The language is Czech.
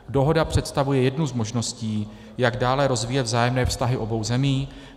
Dohoda představuje jednu z možností, jak dále rozvíjet vzájemné vztahy obou zemí.